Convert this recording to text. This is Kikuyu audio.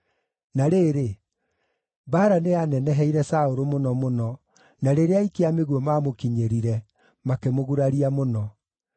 Na rĩrĩ, mbaara nĩyaneneheire Saũlũ mũno mũno, na rĩrĩa aikia a mĩguĩ maamũkinyĩrire, makĩmũguraria mũno.